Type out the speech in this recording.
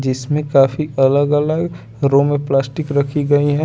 जिसमे काफी अलग अलग रूम में प्लास्टिक रखी गयी हैं।